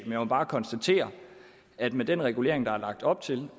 jeg må bare konstatere at med den regulering der er lagt op til